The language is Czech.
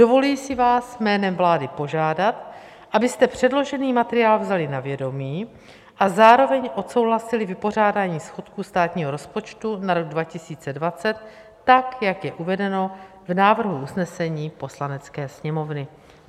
Dovoluji si vás jménem vlády požádat, abyste předložený materiál vzali na vědomí a zároveň odsouhlasili vypořádání schodku státního rozpočtu na rok 2020, tak jak je uvedeno v návrhu usnesení Poslanecké sněmovny.